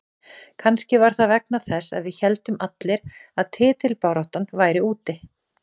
Kannski var það vegna þess að við héldum allir að titilbaráttan væri úti.